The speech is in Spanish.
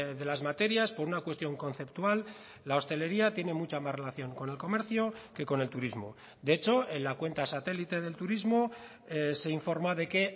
de las materias por una cuestión conceptual la hostelería tiene mucha más relación con el comercio que con el turismo de hecho en la cuenta satélite del turismo se informa de que